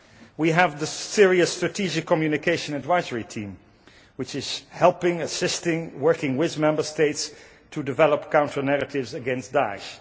We have the Syria Strategic Communication Advisory Team which is helping, assisting, working with Member States, to develop counter narratives against Da'esh.